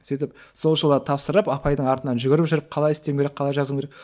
сөйтіп сол жылы тапсырып апайдың артынан жүгіріп жүріп қалай істеуім керек қалай жазу керек